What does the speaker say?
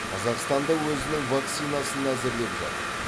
қазақстан да өзінің вакцинасын әзірлеп жатыр